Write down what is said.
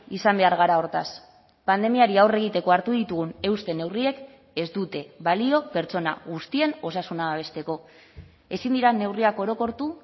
izan behar gara hortaz pandemiari aurre egiteko hartu ditugun euste neurriek ez dute balio pertsona guztien osasuna babesteko ezin dira neurriak orokortu